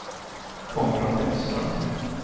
Konrad Bäckström